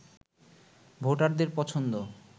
ভোটারদের পছন্দ